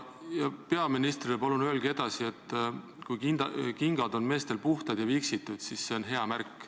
Ja peaministrile palun öelge edasi, et kui kingad on meestel puhtad ja viksitud, siis see on hea märk.